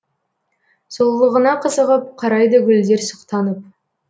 сұлулығыңа қызығып қарайды гүлдер сұқтанып